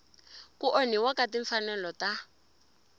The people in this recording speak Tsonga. ku onhiwa ka timfanelo ta